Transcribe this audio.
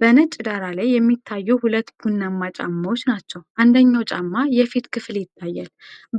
በነጭ ዳራ ላይ የሚታዩ ሁለት ቡናማ ጫማዎች ናቸው። አንደኛው ጫማ የፊት ክፍል ይታያል፣